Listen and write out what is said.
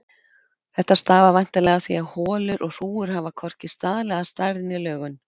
Þetta stafar væntanlega af því að holur og hrúgur hafa hvorki staðlaða stærð né lögun.